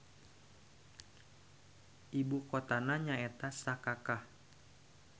Ibu kotana nyaeta Sakakah.